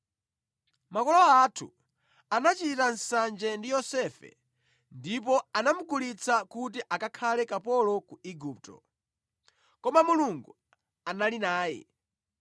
“Makolo athu anachita nsanje ndi Yosefe ndipo anamugulitsa kuti akakhale kapolo ku Igupto. Koma Mulungu anali naye